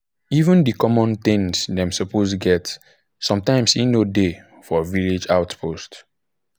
even the common things dem suppose get sometimes e no um dey for village health post.